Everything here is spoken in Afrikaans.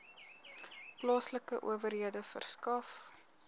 plaaslike owerhede verskaf